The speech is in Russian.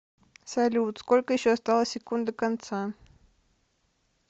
салют сколько еще осталось секунд до конца